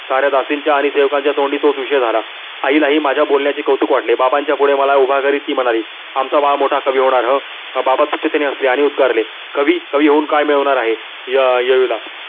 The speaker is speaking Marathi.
साऱ्या दासीनच्या आणि सेवकांच्या तोंडी तोच विषय झाला. आई ला ही माझ्या बोलण्याचे कौतुक झाले. बाबा पुढे उभे करीत ती म्हणाली आमचा बाल मोठा कवि होणार ह. बाबा तुचतेने हसले आणि उद्गारले कवि कवि होऊन काय मिळवणार आहे.